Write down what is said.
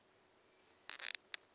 ke tša bona go be